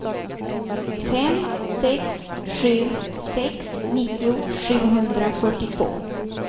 fem sex sju sex nittio sjuhundrafyrtiotvå